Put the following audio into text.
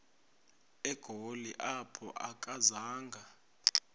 egoli apho akazanga